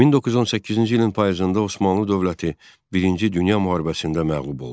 1918-ci ilin payızında Osmanlı dövləti Birinci Dünya Müharibəsində məğlub oldu.